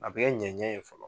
A bɛ kɛ ɲɛɲɛ ye fɔlɔ